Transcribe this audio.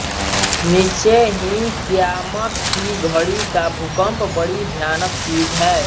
निश्चय ही क़ियामत की घड़ी का भूकम्प बड़ी भयानक चीज़ है